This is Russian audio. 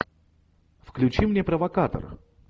включи мне провокатор